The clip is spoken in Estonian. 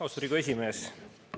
Austatud Riigikogu esimees!